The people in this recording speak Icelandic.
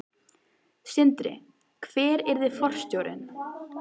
Sindri: Hver yrði forstjórinn?